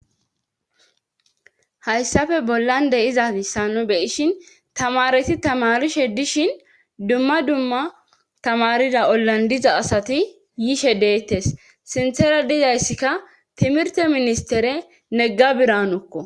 hayssafe bollande izazissa nu beyishin tamareti tamarishe dishin dumma dumma tamarida ollandiza asati yishe deettes sinthera dizayssikka timirte ministere negga biranokko